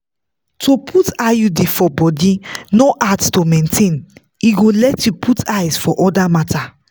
to put iud for body no hard to maintain e go let you put eyes for other matters.